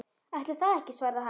Ætli það ekki svarar hann.